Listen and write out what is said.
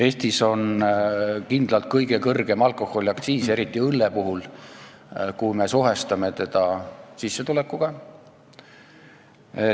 Eestis on kindlalt kõige kõrgem alkoholiaktsiis, eriti õlle puhul, kui me suhestame seda sissetulekuga.